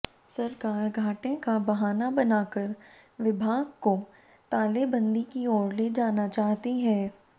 सरकार घाटे का बहाना बनाकर विभाग को तालेबंदी की ओर ले जाना चाहती है